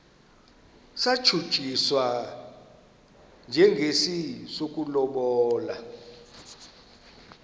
satshutshiswa njengesi sokulobola